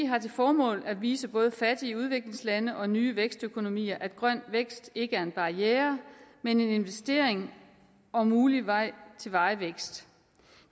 har til formål at vise både fattige udviklingslande og nye vækstøkonomier at grøn vækst ikke er en barriere men en investering og mulig vej til varig vækst